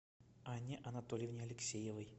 анне анатольевне алексеевой